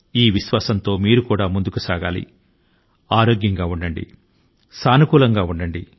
ఈ భరోసా తో మీరు కూడా ముందంజ వేయండి ఆరోగ్యం గా ఉండండి సానుకూలం గా ఆలోచించండి